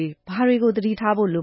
ေ ဘာတွေကို သတိထားဖို့ လိ